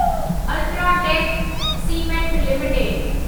UltraTech cement limited